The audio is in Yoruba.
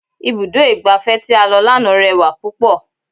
Ibùdó igbàfẹ́ tí a lọ lánàá rẹwà púpọ̀.